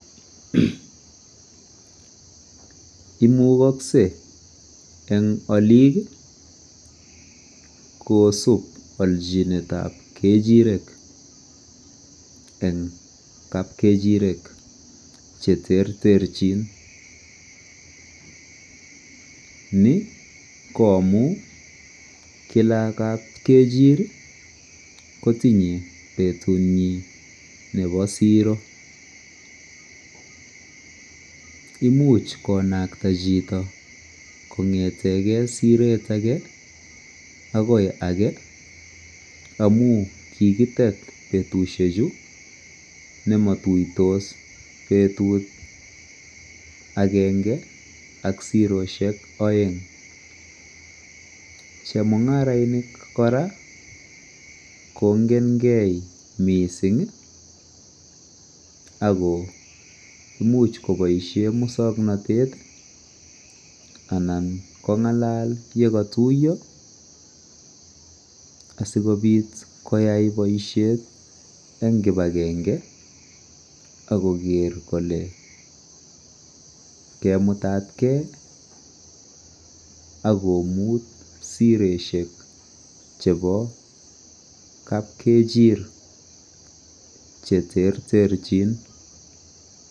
Imukoskei eng oliik kosup olchinet ap kechirek eng kapkechirek che ter ter chin ni ko amu kila kap kechir kotinyei petunyi nebo siro imuch konakta chito kongeteke siret age akoi age amu kikitet betushek chu nematuitos betut akenge ak siroshek oeng chemungarainik kora kongen gei mising ako imuch koboisie muswongnotet anan kongalal yekatuiyo asikobit koyai boishet eng kibakenge ako ker kole keimutatkei akomut siroshek chebo kap kechir che ter chin.